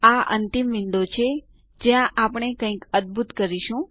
આ અંતિમ વિન્ડો છે જ્યાં આપણે કંઈક અદ્ભુત કરીશું